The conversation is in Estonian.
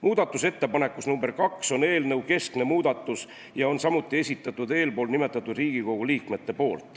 Muudatusettepanekus nr 2 on eelnõu keskne muudatus ja selle on samuti esitanud eespool nimetatud Riigikogu liikmed.